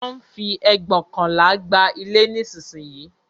Wón ń fi ẹgbóokànlá gba ilé nísìnyí